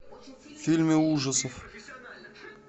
фильмы ужасов